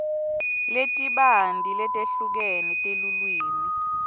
letibanti letehlukene telulwimi